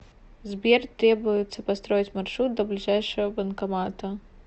сбер требуется построить маршрут до ближайшего банкомата